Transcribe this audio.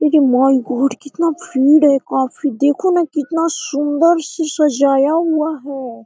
Array my god कितना भीड़ है काफी देखो न कितना सुन्दर से सजाया हुआ है।